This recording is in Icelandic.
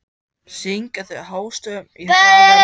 Syngja þau hástöfum í hraðari takti.